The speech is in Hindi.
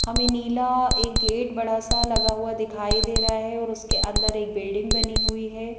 हमें नीला एक गेट बड़ा सा लगा हुआ दिखाइ दे रहा है और उसके अंदर एक बिल्डिंग बनी हुई है।